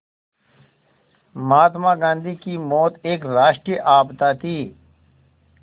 महात्मा गांधी की मौत एक राष्ट्रीय आपदा थी